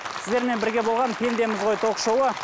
сіздермен бірге болған пендеміз ғой ток шоуы